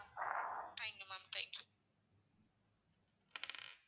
thank you ma'am thank you